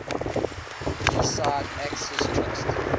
deeside access trust